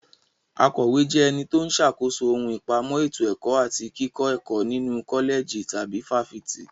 Akọ̀wé jẹ́ ẹni tó ń ṣàkóso ohun ìpamọ́ ètò ẹ̀kọ́ àti kíkọ́ ẹ̀kọ́ nínu kọ́lẹ̀jì tàbí fáfitì.